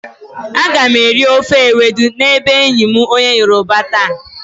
Aga m eri ofe ewedu n'ebe enyi m onye yoroba taa.